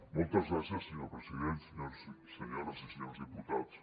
moltes gràcies senyor president senyores i senyors diputats